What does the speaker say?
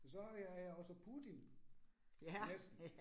Og så har jeg også Putin. Næsten